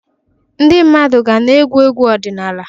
Ndị mmadụ ga na-ege egwu ọdịnala.